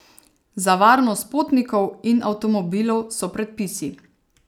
Za varnost potnikov in avtomobilov so predpisi!